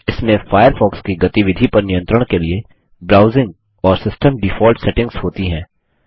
इसमें फायरफॉक्स की गतिविधि पर नियंत्रण के लिए ब्राउजिंग और सिस्टम डिफॉल्ट सेटिंग्स होती हैं